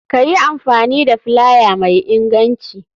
Kayi amfani da filaya mai inganci.